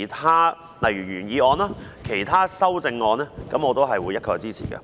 但是，對於原議案及其他修正案，我會一概支持。